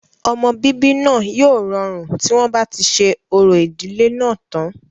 ọmọ bíbí náà yóò rọrùn tí wọ́n bá ti ṣe orò ìdílé náà tán